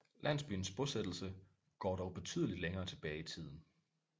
Landsbyens bosættelse går dog betydeligt længere tilbage i tiden